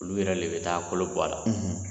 Olu yɛrɛ le bɛ taa kolo b'a la